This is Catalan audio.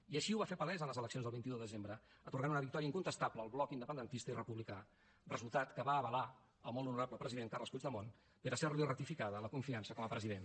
i així ho va fer palès en les eleccions del vint un de desembre atorgant una victòria incontestable al bloc independentista i republicà resultat que va avalar el molt honorable president carles puigdemont per a ser li ratificada la confiança com a president